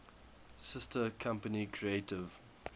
sister company creative